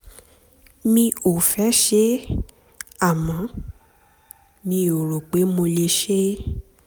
mi ò mi ò fẹ́ ṣe é àmọ́ mi ò rò pé mo lè ṣe é